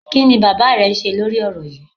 Kí ni bàbá rẹ ń ṣe lórí ọ̀rọ̀ yíì?